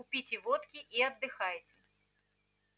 купите водки и отдыхайте